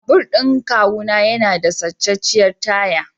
Babur ɗin kawuna yana da sacacciyar taya.